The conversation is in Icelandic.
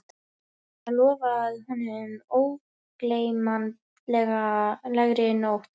Eða lofað honum ógleymanlegri nótt